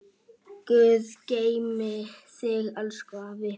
Guð geymi þig, elsku afi.